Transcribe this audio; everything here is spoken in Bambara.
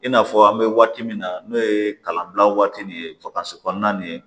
I n'a fɔ an bɛ waati min na n'o ye kalanbila waati nin ye kɔnɔna nin ye